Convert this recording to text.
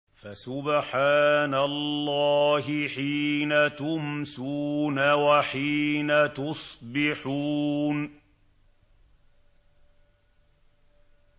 فَسُبْحَانَ اللَّهِ حِينَ تُمْسُونَ وَحِينَ تُصْبِحُونَ